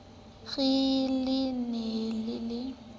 re le ne le le